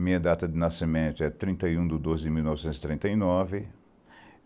Minha data de nascimento é trinta e um do doze de mil novecentos e trinta e nove